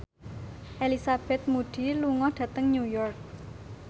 Elizabeth Moody lunga dhateng New York